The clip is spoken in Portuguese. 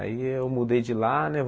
Aí eu mudei de lá, né?